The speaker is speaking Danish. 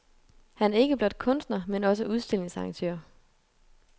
Han er ikke blot kunstner men også udstillingsarrangør.